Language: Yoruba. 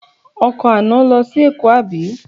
Ọkọ̀ àná lọ sí Èkó àbí?